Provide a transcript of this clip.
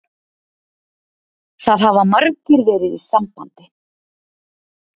Það hafa margir verið í sambandi